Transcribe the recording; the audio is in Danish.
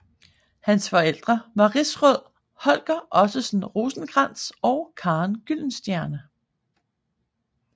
Hans forældre var rigsråd Holger Ottesen Rosenkrantz og Karen Gyldenstierne